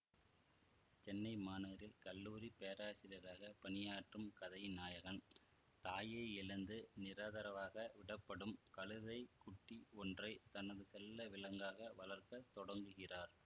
சென்னை மாநகரில் கல்லூரி பேராசியராக பணியாற்றும் கதையின் நாயகன் தாயை இழந்து நிராதரவாக விடப்படும் கழுத்தை குட்டி ஒன்றை தனது செல்ல விலங்காக வளர்க்க தொடங்குகிறார்